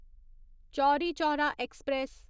Chauri Chaura express